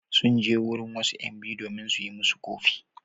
Sun je wurin wasu ƴan biyu domin su yi musu ƙofi.